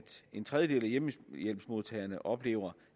en tredjedel af hjemmehjælpsmodtagerne oplever